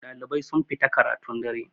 ɗalibai sun fita karatun dare